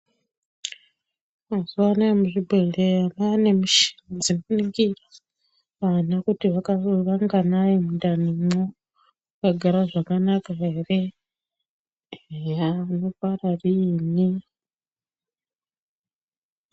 Mazuwanaya muzvibhedhleya mwaane michini dzinoningira kuti vana vanganai mundanimwo vakagara zvakanaka ere eya unobara riini.